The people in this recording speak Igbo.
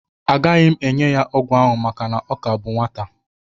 Agaghị m enye ya ọgwụ ahụ maka na ọ ka bụ nwata